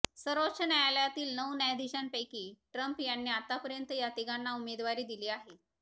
सर्वोच्च न्यायालयातील नऊ न्यायाधीशांपैकी ट्रम्प यांनी आतापर्यंत या तिघांना उमेदवारी दिली आहे